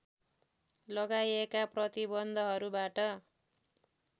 लगाइएका प्रतिबन्धहरूबाट